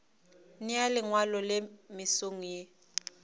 nea lengwalo le mesong ye